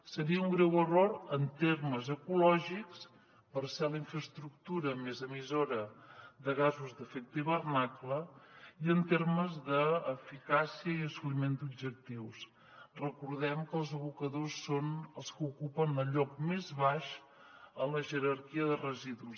seria un greu error en termes ecològics per ser la infraestructura més emissora de gasos d’efecte hivernacle i en termes d’eficàcia i assoliment d’objectius recordem que els abocadors són els que ocupen el lloc més baix en la jerarquia de residus